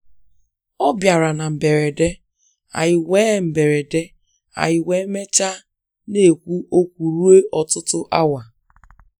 Ọ bịara na mberede, anyị wee mberede, anyị wee mechaa na-ekwu okwu ruo ọtụtụ awa.